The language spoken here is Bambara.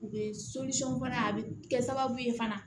U bɛ fana a bɛ kɛ sababu ye fana